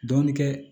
Dɔɔnin kɛ